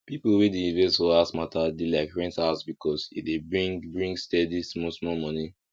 people wey dey invest for house matter dey like rent house because e dey bring bring steady small small money